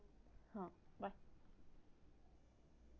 अह